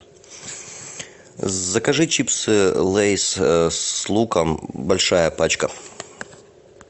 закажи чипсы лейс с луком большая пачка